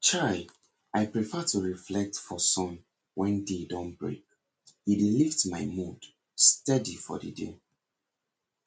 chai i prefer to reflect for sun wen day don break e dey lift my mood steady for the day